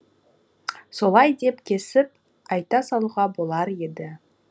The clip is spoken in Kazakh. солай деп кесіп айта салуға болар еді